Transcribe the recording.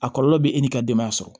A kɔlɔlɔ bɛ e n'i ka denbaya sɔrɔ